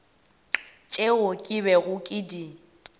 tšeo ke bego ke di